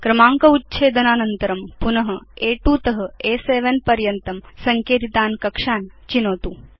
क्रमाङ्क उच्छेदनानन्तरं पुन अ2 त अ7 पर्यन्तं सङ्केतितान् कक्षान् चिनोतु